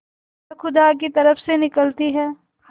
वह खुदा की तरफ से निकलती है